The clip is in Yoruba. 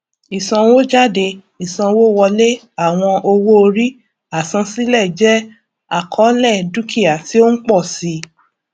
ìsanwójádé ìsanwówọlé àwọn owóorí àsansílẹ jẹ àkọlé dukia ti o ń pọ si